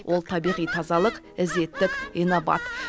ол табиғи тазалық ізеттік инабат